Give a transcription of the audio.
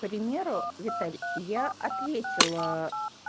к примеру виталий я ответила